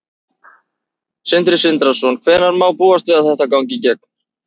Sindri Sindrason: Hvenær má búast við að þetta gangi í gegn?